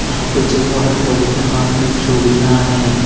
यहां पे जो औरत है उनके हाथ में चूड़ियां है।